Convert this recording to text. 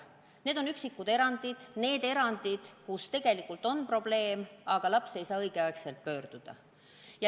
Need on üksikud erandid, kus lapsel on tegelikult probleem, aga ta ei saa õigel ajal psühhiaatri poole pöörduda.